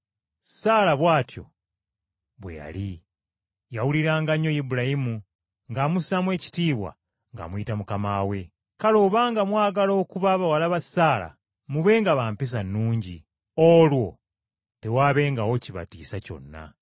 Saala bw’atyo bwe yali; yawuliranga nnyo Ibulayimu, ng’amussaamu ekitiibwa ng’amuyita mukama we. Kale obanga mwagala okuba bawala ba Saala, mubenga ba mpisa nnungi, olwo tewaabengawo kibatiisa kyonna.